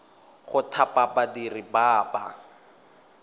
go thapa badiri ba ba